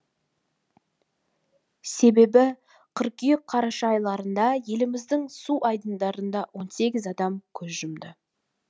себебі қыркүйек қараша айларында еліміздің су айдындарында он сегіз адам көз жұмды